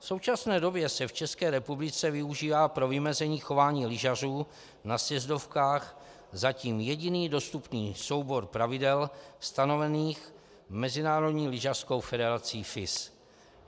V současné době se v České republice využívá pro vymezení chování lyžařů na sjezdovkách zatím jediný dostupný soubor pravidel stanovených Mezinárodní lyžařskou federací FIS.